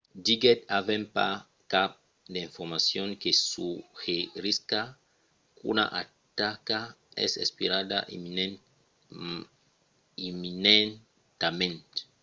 diguèt avèm pas cap d'informacion que suggerisca qu'una ataca es esperada imminentament